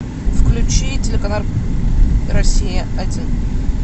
включи телеканал россия один